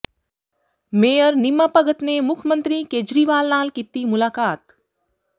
mayor Neema Bhagat ਨੇ ਮੁੱਖ ਮੰਤਰੀ ਕੇਜਰੀਵਾਲ ਨਾਲ ਕੀਤੀ ਮੁਲਾਕਾਤ